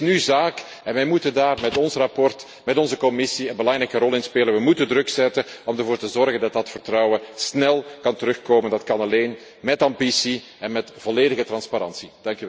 En het is nu zaak en wij moeten daar met ons verslag en met onze commissie een belangrijke rol in spelen druk te zetten om ervoor te zorgen dat dat vertrouwen snel kan terugkomen. Dat kan alleen met ambitie en met volledige transparantie.